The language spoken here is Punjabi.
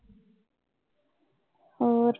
ਹੋਰ?